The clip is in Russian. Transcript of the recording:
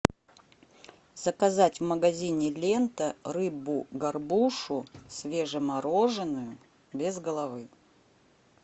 заказать в магазине лента рыбу горбушу свежемороженую без головы